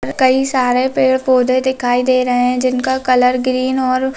कई सारे पेड़-पौधे दिखाई दे रहें हैं जिनका कलर ग्रीन और --